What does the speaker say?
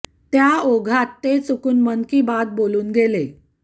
त्या ओघात ते चुकुन मन की बात बोलून गेले